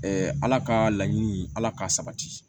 ala ka laɲini ala k'a sabati